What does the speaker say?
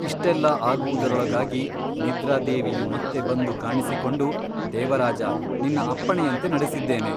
ಇಷ್ಟೆಲ್ಲಾ ಆಗುವುದರೊಳಗಾಗಿ ನಿದ್ರಾದೇವಿಯು ಮತ್ತೆ ಬಂದು ಕಾಣಿಸಿಕೊಂಡು ದೇವರಾಜ ನಿನ್ನ ಅಪ್ಪಣೆಯಂತೆ ನಡೆಸಿದ್ದೇನೆ.